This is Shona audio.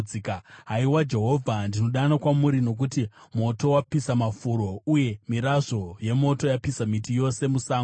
Haiwa Jehovha, ndinodana kwamuri, nokuti moto wapisa mafuro, uye mirazvo yemoto yapisa miti yose musango.